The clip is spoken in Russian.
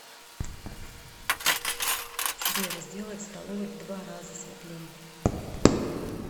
сбер сделай в столовой в два раза светлее